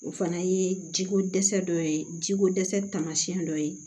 O fana ye jiko dɛsɛ dɔ ye jiko dɛsɛ tamasiyɛn dɔ ye